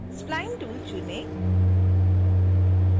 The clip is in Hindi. spline tool चुनें